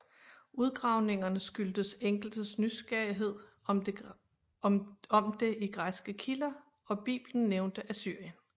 Udgravningerne skyldtes enkeltes nysgerrighed om det i græske kilder og Biblen nævnte Assyrien